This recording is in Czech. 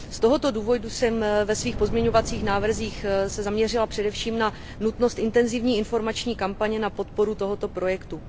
Z tohoto důvodu jsem se ve svých pozměňovacích návrzích zaměřila především na nutnost intenzivní informační kampaně na podporu tohoto projektu.